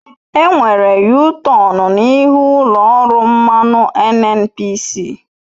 Enwere yutọonu n'ihu ụlọ ọrụ mmanụ NNPC.